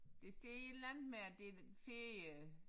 Der står et eller andet med at det er ferie